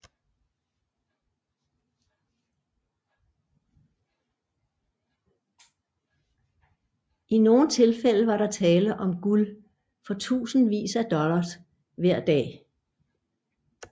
I nogle tilfælde var der tale om guld for tusindvis af dollars hver dag